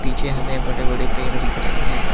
पिछे हमे बड़े बड़े पेड़ दिख रहे हैं।